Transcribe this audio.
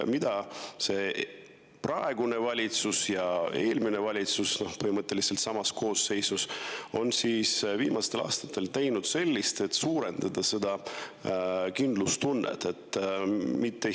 Mida on praegune valitsus teinud ja mida tegi põhimõtteliselt sama koosseisuga eelmine valitsus viimastel aastatel, et suurendada seda kindlustunnet?